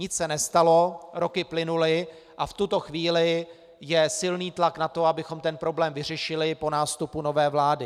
Nic se nestalo, roky plynuly a v tuto chvíli je silný tlak na to, abychom ten problém vyřešili po nástupu nové vlády.